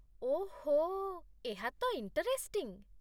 ଓଃ, ଏହା ତ ଇଣ୍ଟରେଷ୍ଟିଙ୍ଗ୍ ।